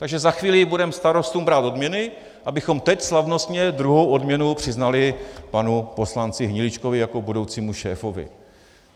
Takže za chvíli budeme starostům brát odměny, abychom teď slavnostně druhou odměnu přiznali panu poslanci Hniličkovi jako budoucímu šéfovi.